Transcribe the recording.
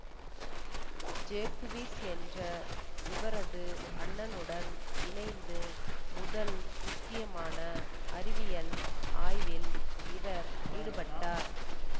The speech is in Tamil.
ஜேக்குவிஸ் என்ற இவரது அண்ணனுடன் இணைந்து முதல் முக்கியமான அறிவியல் ஆய்வில் இவர் ஈடுபட்டார்